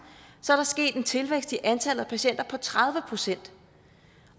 er der sket en tilvækst i antallet af patienter på tredive procent